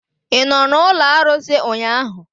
Ị nọ n'ụlọ arụsị ụnyahụ?